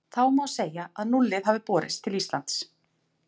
Þá má segja að núllið hafi borist til Íslands.